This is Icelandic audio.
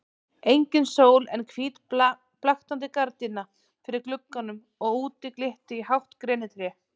Engin sól en hvít blaktandi gardína fyrir glugganum og úti glitti í hátt grenitré.